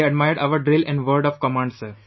They admired our Drill & word of command, sir